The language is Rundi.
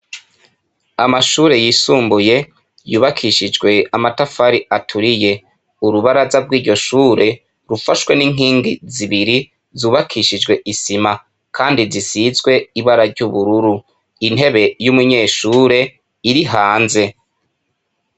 Amashure yisumbuye yubakishijwe amatafari aturiye urubaraza bw'iryo shure rufashwe n'inkingi zibiri zubakishijwe isima, kandi zisizwe ibara ry'ubururu intebe y'umunyeshure iri hanze.